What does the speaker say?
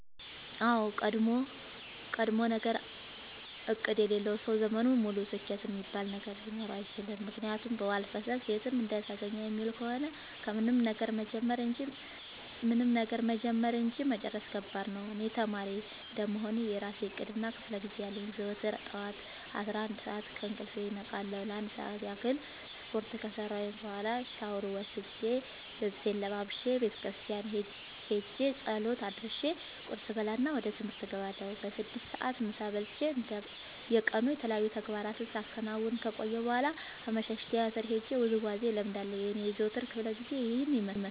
አዎድ ቀድሞነገር እቅድ የሌለው ሰው ዘመኑን ሙሉ ስኬት እሚባል ነገር ሊኖረው አይችልም። ምክንያቱም በዋልፈሰስ የትም እንደተገኘ የሚውል ከሆነ ምንም ነገር መጀመር እንጂ መጨረስ ከባድ ነው። እኔ ተማሪ እንደመሆኔ የእራሴ እቅድ እና ክፋለጊዜ አለኝ። ዘወትር ጠዋት አስራአንድ ሰዓት ከእንቅልፌ እነቃለሁ ለአንድ ሰዓት ያክል ስፓርት ከሰራሁኝ በኋላ ሻውር ወስጄ ልብሴን ለባብሼ ቤተክርስቲያን ኸጄ ፀሎት አድርሼ ቁርስ እበላና ወደ ትምህርት እገባለሁ። በስድስት ሰዓት ምሳ በልቼ እንደ የቀኑ የተለያዩ ተግባራትን ሳከናውን ከቆየሁ በኋላ አመሻሽ ቲያትር ሄጄ ውዝዋዜ እለምዳለሁ የኔ የዘወትር ክፍለጊዜ ይኸን ይመስላል።